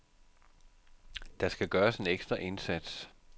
Der skal gøres en ekstra indsats.